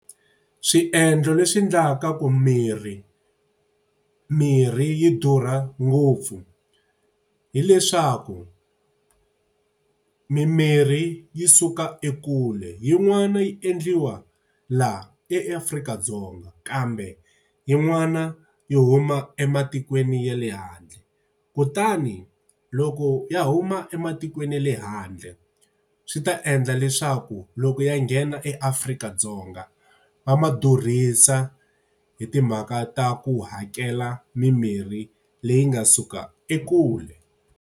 Swiendlo leswi endlaka ku mirhi mirhi yi durha ngopfu hi leswaku, mimirhi yi suka ekule. Yin'wana yi endliwa laha eAfrika-Dzonga kambe yin'wana yi huma ematikweni ya le handle. Kutani loko ya huma ematikweni ya le handle, swi ta endla leswaku loko ya nghena Afrika-Dzonga va ma durhisa hi timhaka ta ku hakela mimirhi leyi nga suka ekule.